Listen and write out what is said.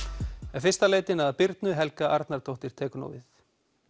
en fyrst að leitinni að Birnu Helga Arnardóttir tekur nú við